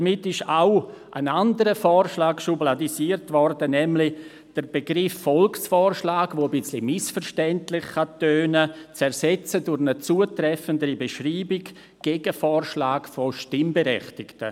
Damit wurde auch ein anderer Vorschlag schubladisiert, nämlich der Begriff Volksvorschlag, welcher ein bisschen missverständlich tönen kann, durch eine zutreffendere Beschreibung zu ersetzen, nämlich durch «Gegenvorschlag von Stimmberechtigten».